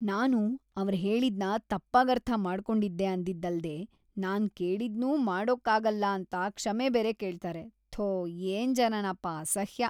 ನಾನು ಅವ್ರ್‌ ಹೇಳಿದ್ನ ತಪ್ಪಾಗರ್ಥ ಮಾಡ್ಕೊಂಡಿದ್ದೆ ಅಂದಿದ್ದಲ್ದೇ ನಾನ್‌ ಕೇಳಿದ್ನೂ ಮಾಡ್ಕೊಡಕ್ಕಾಗಲ್ಲ ಅಂತ ಕ್ಷಮೆ ಬೇರೆ ಕೇಳ್ತಾರೆ, ಥೋ ಏನ್‌ ಜನನಪ..ಅಸಹ್ಯ!